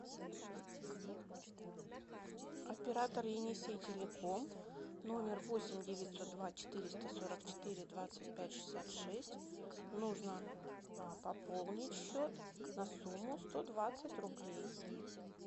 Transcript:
оператор енисей телеком номер восемь девятьсот два четыреста сорок четыре двадцать пять шестьдесят шесть нужно пополнить счет на сумму сто двадцать рублей